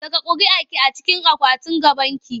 Saka ƙuriarki a cikin akwatin gabanki!